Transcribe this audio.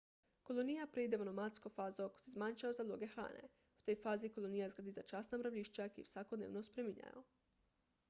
kolonija preide v nomadsko fazo ko se zmanjšajo zaloge hrane v tej fazi kolonija zgradi začasna mravljišča ki jih vsakodnevno spreminjajo